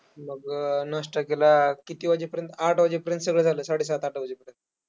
मग नाश्ता केला, किती वाजेपर्यंत आठ वाजेपर्यंत सगळं झालं, साडेसात आठ वाजेपर्यंत.